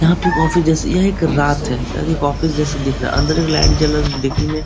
यहाँ पे ऑफिस जैसे यह एक रात है और एक ऑफिस जैसा दिख रहा अंदर एक लाइट जल रहा देखने मे --